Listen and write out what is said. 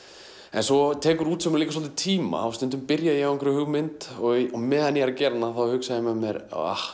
en svo tekur útsaumur líka svolítinn tíma og stundum byrja ég á einhverri hugmynd og á meðan ég er að gera hana þá hugsa ég með mér ah